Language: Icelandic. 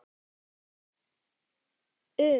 Nokkur atriði um sykursýki.